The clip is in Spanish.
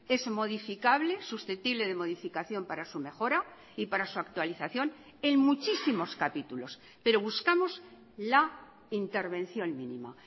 es modificable susceptible de modificación para su mejora y para su actualización en muchísimos capítulos pero buscamos la intervención mínima